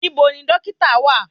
Níbo ni dọ́kítà wà?